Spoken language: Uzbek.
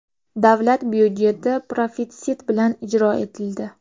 Davlat byudjeti profitsit bilan ijro etildi.